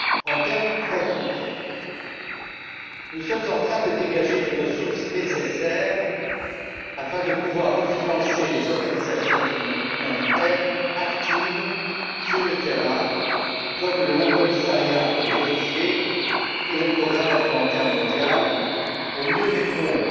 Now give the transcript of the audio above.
En termes très concrets, nous sommes en train de dégager les ressources nécessaires afin de pouvoir refinancer les organisations humanitaires actives sur le terrain, comme le Haut Commissariat pour les réfugiés et le Programme alimentaire mondial, pour mieux répondre